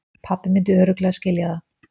Pabbi myndi örugglega skilja það.